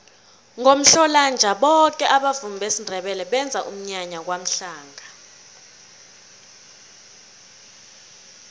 ngomhlolanja boke abavumi besindebele benza umnyanya kwamhlanga